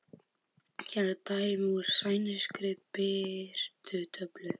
Hér er dæmi úr sænskri birtutöflu